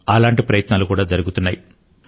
అటువంటి ప్రయత్నాలు కూడా జరుగుతున్నాయి